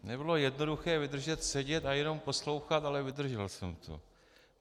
Nebylo jednoduché vydržet sedět a jenom poslouchat, ale vydržel jsem to.